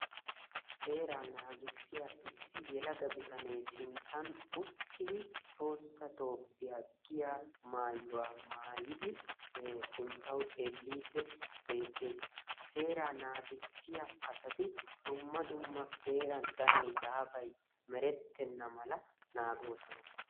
seeraa naggissiya issi yelaga kaamiya ha asati cadiidi de'iyo koyro tokketidaagee de'iyo koyro go'iya gididi mayidi beetees; asati merettenna mala naagoosona.